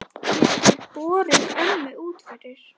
Geturðu borið ömmu út fyrir?